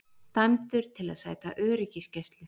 Dæmdur til að sæta öryggisgæslu